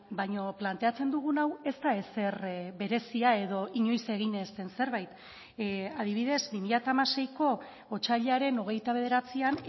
baina planteatzen dugun hau ez da ezer berezia edo inoiz egin ez den zerbait adibidez bi mila hamaseiko otsailaren hogeita bederatzian